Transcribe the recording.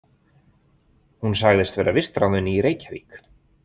Hún sagðist vera vistráðin í Reykjavík.